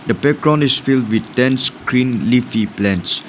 background is filled with dense green leafy plants.